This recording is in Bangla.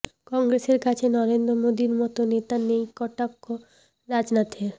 কংগ্রেসের কাছে নরেন্দ্র মোদির মতো নেতা নেই কটাক্ষ রাজনাথের